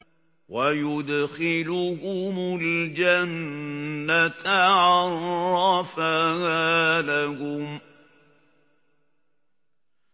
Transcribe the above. وَيُدْخِلُهُمُ الْجَنَّةَ عَرَّفَهَا لَهُمْ